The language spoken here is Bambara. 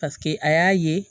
Paseke a y'a ye